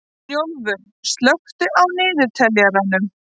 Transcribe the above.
Snjólfur, slökktu á niðurteljaranum.